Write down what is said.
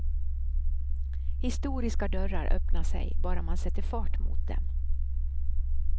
Historiska dörrar öppnar sig, bara man sätter fart mot dem.